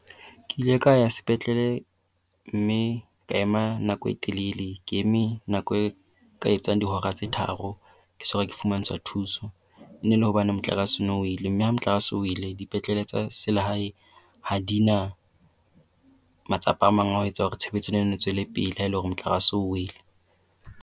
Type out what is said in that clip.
Ke ile ka ya sepetlele mme ka ema nako e telele. Ke eme nako e ka etsang dihora tse tharo ke so ka fumantshwa thuso. E ne ele hobane motlakase o ne o wele mme ha motlakase o wele mme ha motlakase o wele dipetlele tsa selehae ha di na matsapa a mang a ho etsa hore tshebetso e nenne e tswele pele ha ele hore motlakase o wele.